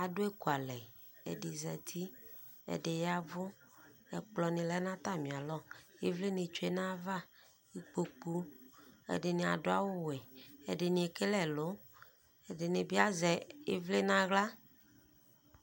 Adʋ ekualɛƐdi zati, ɛɖi yavʋƐkplɔ ni lɛ natamialɔIvlinitsoe nayavaIkpoku Ɛdini adʋ awu wɛƐdini ekele ɛlʋƐdini bi asɛ ivli naɣla